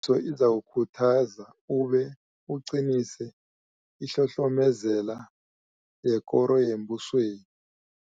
so ozakukhuthaza ube uqinise ihlohlomezela yekoro yembusweni.